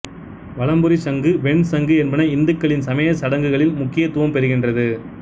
வலம்புரிச் சங்கு வெண் சங்கு என்பன இந்துக்களின் சமயச் சடங்குகளில் முக்கியத்துவம் பெறுகின்றது